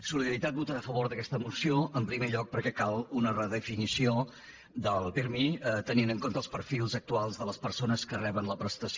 solidaritat votarà a favor d’aquesta moció en primer lloc perquè cal una redefinició del pirmi tenint en compte els perfils actuals de les persones que reben la prestació